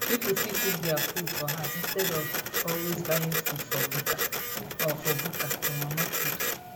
pipo fit cook their food for house instead of always buying food for bukka or for bukka or mama put